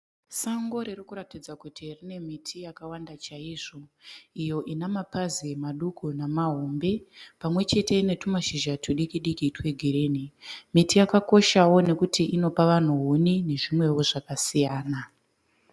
Sango riri kuratidza kuti rine miti yakawanda chaizvo. Iyo inamapazi madiki nemahombe pamwe chete netumashizha tudiki diki twegirinhi. miti yakakoshawo nokuti inopa vanhu huni nezvimwewo zvakasiyana.